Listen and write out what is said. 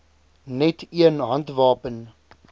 net een handwapen